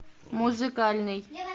музыкальный